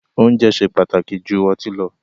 Oúnjẹ ṣe pàtàkì jù ọtí lọ